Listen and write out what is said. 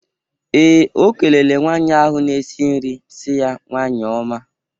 Ee, O kelele nwaanyị ahụ na-esi nri si ya "nwanyi ọma"